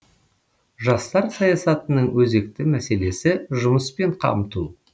жастар саясатының өзекті мәселесі жұмыспен қамту